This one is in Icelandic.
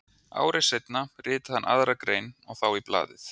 Ári seinna ritaði hann aðra grein og þá í blaðið